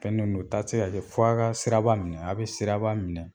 Fɛn min do taa tɛ se ka kɛ f'a ka sira minɛ a bɛ siraba minɛ.